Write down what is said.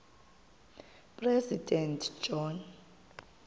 president john